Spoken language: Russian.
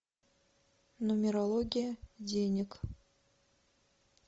нумерология денег